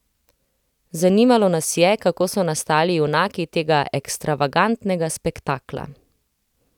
Zanimalo nas je, kako so nastali junaki tega ekstravagantnega spektakla.